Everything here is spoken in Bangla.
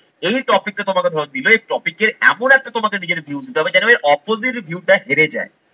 এই topic টা তোমাকে ধরো দিলো, এই topic এমন একটা তোমাকে নিজের view দিতে হবে যেন ওই opposite view টা হেরে যায়।